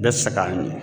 Bɛɛ sɛgɛnnen